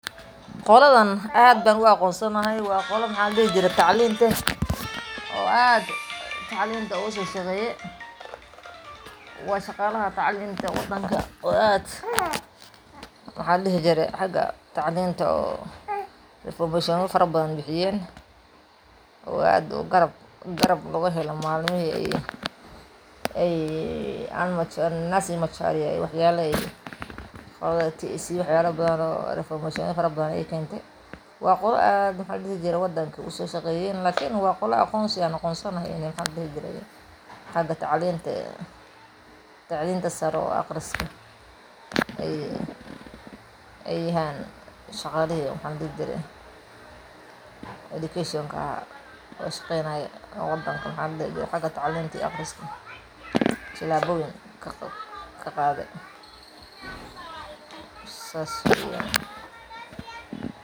Qoladhan aadba u aqonsanahay wa qola maxa ladihi jiri taclin leh oo aad taclinta ugusoshaqeyi wa shaqalaha taclinta wadanka oo aad Maxa ladihi jiri haka taclintu oo infomashona fara badhan bixiyen oo aad garab laguhela malmihi ay Nansi wacharia aay wax yalo badhan oo tac wax yale badhan oo informationa fara badhan ay kenti wa qolaa aad Maxa ladihi jiri wadanka ugusoshaqeyen lakin waa qola aqonsigan aqonsanahay maxa ladihi jiray haka taclinta sare oo aqriska ay hayaan shaqalihi maxa ladihi jiray edukashonka ahaa hostenay maxa ladihi jiray haka taclinta iyo aqriska talaboyin kaqadhi sas weyan